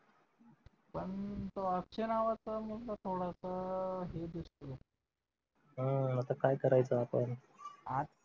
पण तो अक्षय नावाचा मुलगा थोडासा हे दिसतोय आता काय करायचं आपण